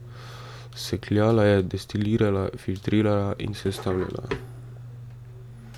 Sekljala je, destilirala, filtrirala in sestavljala.